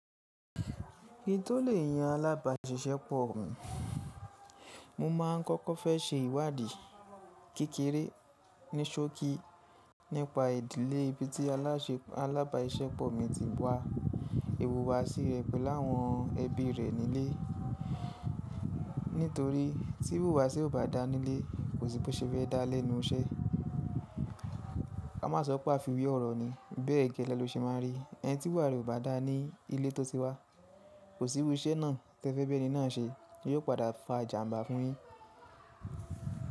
Kí n tó lè yan alábàáṣiṣẹ́pọ̀ mi? Mo máa kọ́kọ́ fẹ́ ṣe ìwádìí kékeré ní ṣókí nípa ìdílé ibi tí alábàáṣiṣẹ́pọ̀ mi ti wá, ìwùwàsí rẹ̀ pẹ̀lú àwọn ẹbí rẹ̀ nílé. Nítorí tí ìwúwàṣi ò bá dá nílé, kò sí bí ó ṣe fé dá á lẹ́nu iṣẹ́. A má sọ pàfiwì ọ̀rọ̀ ni, bẹ́ẹ̀ gẹ́lẹ́ ló ṣe máa rí. Ẹni tí ìwúwà rẹ̀ ò bá dá ní ilé tó ti wá, kò sí irú iṣẹ́ náà tí ẹ fẹ́ bí ẹni náà ṣe, yóò padà fà jàmbá fún yín.